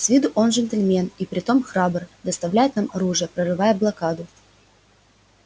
с виду он джентльмен и притом храбр доставлять нам оружие прорывая блокаду